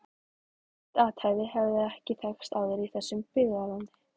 Slíkt athæfi hafði ekki þekkst áður í þessu byggðarlagi.